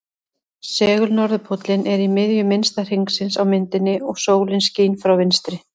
Segul-norðurpóllinn er í miðju minnsta hringsins á myndinni og sólin skín frá vinstri.